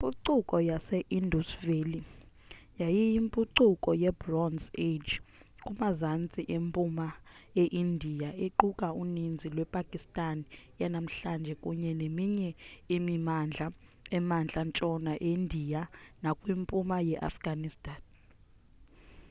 impucuko ye-indus valley yayiyimpucuko yebronze age kumazantsi mpuma eindiya equka uninzi lwepakistan yanamhlanje kunye neminye imimandla emantla ntshona eindiya nakwimpuma yeafghanistan